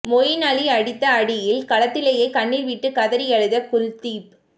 மொயின் அலி அடித்த அடியில் களத்துலயே கண்ணீர் விட்டு கதறி அழுத குல்தீப்